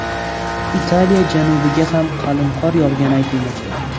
Italiya janubiga ham qalin qor yog‘gani aytilmoqda.